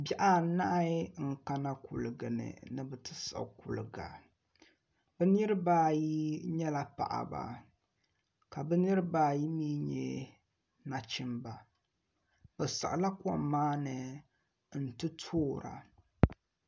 Bihi anahi n kana kuligi ni ni bi ti siɣi kuliga bi niraba ayi nyɛla paɣaba ka bi niraba ayi mii nyɛ nachimba bi siɣila kom maa ni n ti toora